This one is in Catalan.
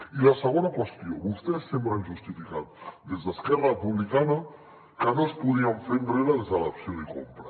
i la segona qüestió vostès sempre han justificat des d’esquerra republicana que no es podien fer enrere des de l’opció de compra